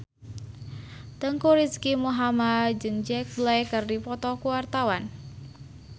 Teuku Rizky Muhammad jeung Jack Black keur dipoto ku wartawan